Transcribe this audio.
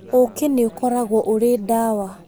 Ũũkĩ nĩ ukoragwo ũrĩ ndawa.